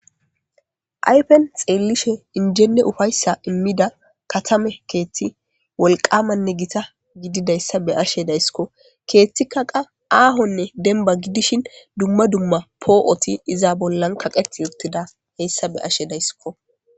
aypen xeellishe injenne ufayssa immida katame keethti wolqamanne gita gididayssa be ashe daysskko keeththikka qa aahonne demba gidishin dumma dumma poo7oti iza bollan kaqet yottida heyssa be ashe daysskko.